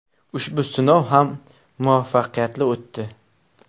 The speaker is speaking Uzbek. Ushbu sinov ham muvaffaqiyatli o‘tdi.